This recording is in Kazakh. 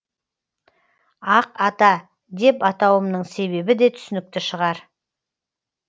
ақ ата деп атауымның себебі де түсінікті шығар